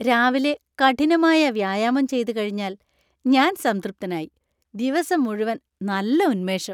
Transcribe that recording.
രാവിലെ കഠിനമായ വ്യായാമം ചെയ്തുകഴിഞ്ഞാല്‍ ഞാന്‍ സംതൃപ്തനായി. ദിവസം മുഴുവൻ നല്ല ഉന്മേഷം .